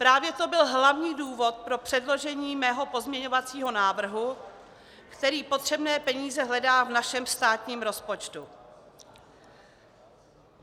Právě to byl hlavní důvod pro předložení mého pozměňovacího návrhu, který potřebné peníze hledá v našem státním rozpočtu.